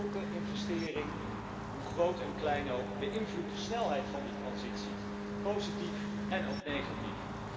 Want elke investering, hoe groot en klein ook, beïnvloedt de snelheid van die transitie positief en ook negatief.